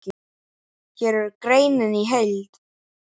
Hér er greinin í heild.